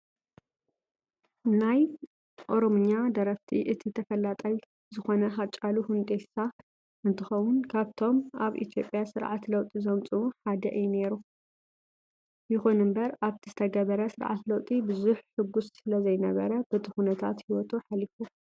ካብ ናይ ኦሮምኛ ደረፍቲ እቲ ተፈላጣይ ዝኾነ ሓጫሉ ሁንዴሳ እንትኾውን ካብቶም ኣብ ኢትዮጵያ ስርዓት ለውጢ ዘምፅኡ ሓደ እዩ ነይሩ። ይኹን እምበር ኣብቲ ዝተገበረ ስርዓተ ለውጢ ብዙሕ ሕጉስ ስለዘይነረ በቲ ኩነታት ሂወቱ ሓሊፉ።